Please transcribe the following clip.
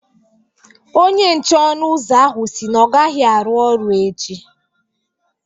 Onye nche ọnụ ụzọ ahụ si na ọ gaghị arụ ọrụ echi